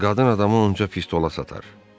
Qadın adamı onca pistola satar.